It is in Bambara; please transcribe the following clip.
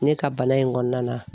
Ne ka bana in kɔnɔna na.